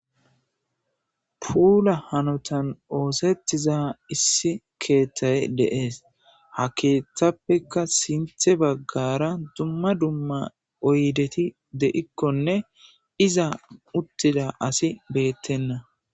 puula hanotan oosettiza issi keetthay deees ha keeththappekka sinthe baggara dumma dumma oydeti de7ikkonne iza uttida asi beettenna